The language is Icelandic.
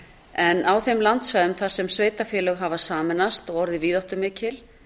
en á þeim landsvæðum þar sem sveitarfélög hafa sameinast og orðið víðáttumikil